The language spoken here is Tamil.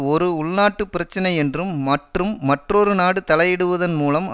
ஒரு உள்நாட்டு பிரச்சனை என்றும் மற்றும் மற்றொரு நாடு தலையிடுவதன் மூலம்